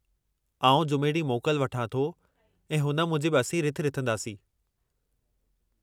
आउं जुमे ॾींहुं मोकल वठां थो, ऐं हुन मूजिबु असीं रिथ रिथंदासीं।